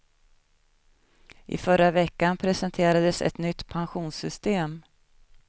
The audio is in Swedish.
I förra veckan presenterades ett nytt pensionssystem.